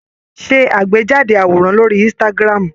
Ṣe àgbéjáde àwòrán lórí Instagram.